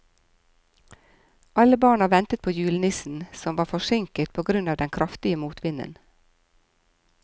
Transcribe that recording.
Alle barna ventet på julenissen, som var forsinket på grunn av den kraftige motvinden.